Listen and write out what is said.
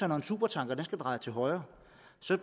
når en supertanker skal dreje til højre